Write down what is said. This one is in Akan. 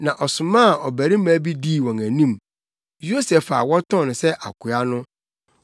na ɔsomaa ɔbarima bi dii wɔn anim, Yosef a wɔtɔn no sɛ akoa no.